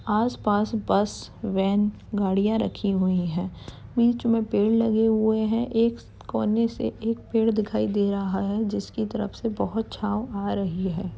आस पास bus van गाडियाँ रखी हुई है। बीच मे पेड़ लगे हुए हैं। एक कोने से एक पेड़ दिखाई दे रहा है। जिसकी तरफ से बहुत छाव आ रही है।